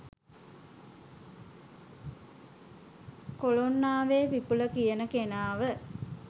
කොලොන්නාවේ විපුල කියන කෙනාව